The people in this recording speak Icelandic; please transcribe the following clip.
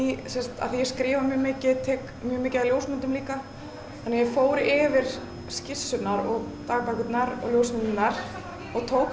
því að ég skrifa mjög mikið og tek mjög mikið af ljósmyndum líka þannig að ég fór yfir skissurnar og dagbækurnar og ljósmyndirnar og tók